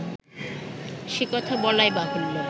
সে-কথা বলাই বাহুল্য